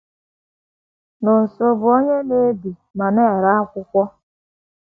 Nonso bụ onye na - ebi ma na - ere akwụkwọ.